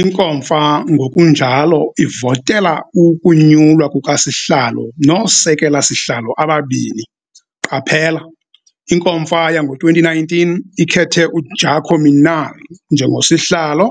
INkomfa ngokunjalo ivotela ukunyulwa kukaSihlalo nooSekela-sihlalo ababini Qaphela- iNkomfa yango-2019 ikhethe uJaco Minnaar njengoSihlalo